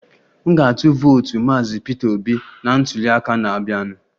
M ga-atụ vootu maazị Peter Obi na ntuliaka na-abịanụ